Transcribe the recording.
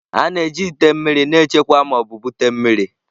A na-eji ite mmiri na-echekwa ma ọ bụ bute mmiri.